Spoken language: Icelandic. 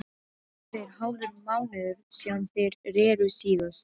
Það er hálfur mánuður síðan þeir reru síðast.